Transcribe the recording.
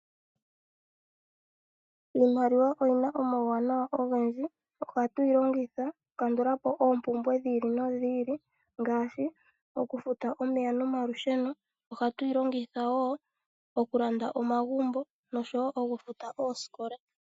Iimaliwa oyina omauwanawa ogendji, ohatu yi longitha oku kandula po oompumbwe dhi ili nodhi ili ngaashi oku futa omeya nomalusheno, ohatu yi longitha wo oku landa omagumbo noshowo oku futa oosikola.